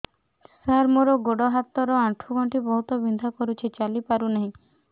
ସାର ମୋର ଗୋଡ ହାତ ର ଆଣ୍ଠୁ ଗଣ୍ଠି ବହୁତ ବିନ୍ଧା କରୁଛି ଚାଲି ପାରୁନାହିଁ